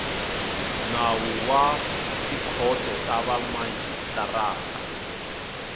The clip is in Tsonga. nawu wa tikhoto ta vamajisitarata